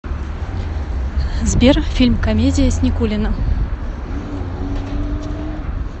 сбер фильм комедия с никулиным